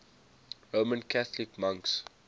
roman catholic monks